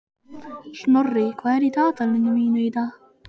Snorri, hvað er í dagatalinu mínu í dag?